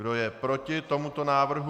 Kdo je proti tomuto návrhu?